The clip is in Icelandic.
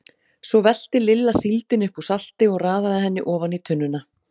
Svo velti Lilla síldinni upp úr salti og raðaði henni ofan í tunnuna.